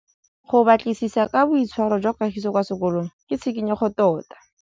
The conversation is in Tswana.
Go batlisisa ka boitshwaro jwa Kagiso kwa sekolong ke tshikinyêgô tota.